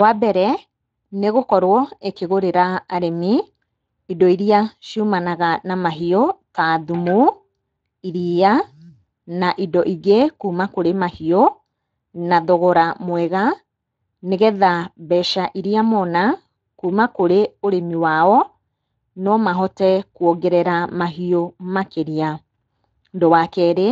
Wambere nĩgũkorwo ĩkĩgũrĩra arĩmi indo iria ciumanaga na mahiũ ta thumu, iria na indo ingĩ kuma kũrĩ mahiũ na thogora mwega, nĩgetha mbeca iria mona kuma kũrĩ ũrĩmi wao nomahote kũongerera mahiũ makĩria. Ũndũ wa kerĩ,